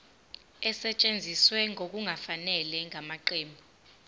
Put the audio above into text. esetshenziswe ngokungafanele ngamaqembu